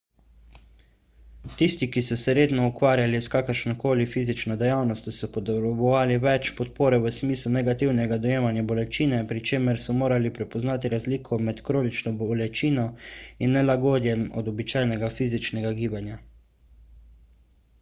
tisti ki so se redno ukvarjali s kakršno koli fizično dejavnostjo so potrebovali več podpore v smislu negativnega dojemanja bolečine pri čemer so morali prepoznati razliko med kronično bolečino in nelagodjem od običajnega fizičnega gibanja